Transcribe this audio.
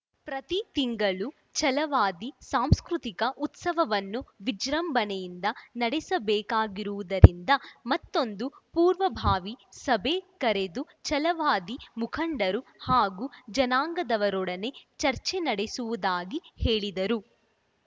ಪ್ರತಿ ತಿಂಗಳು ಛಲವಾದಿ ಸಾಂಸ್ಕೃತಿಕ ಉತ್ಸವವನ್ನು ವಿಜೃಂಭಣೆಯಿಂದ ನಡೆಸಬೇಕಾಗಿರುವುದರಿಂದ ಮತ್ತೊಂದು ಪೂರ್ವಭಾವಿ ಸಭೆ ಕರೆದು ಛಲವಾದಿ ಮುಖಂಡರು ಹಾಗೂ ಜನಾಂಗದವರೊಡನೆ ಚರ್ಚೆ ನಡೆಸುವುದಾಗಿ ಹೇಳಿದರು